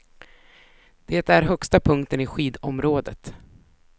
Det är högsta punkten i skidområdet.